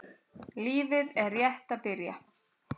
Lífið er rétt að byrja.